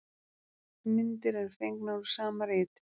Myndir eru fengnar úr sama riti.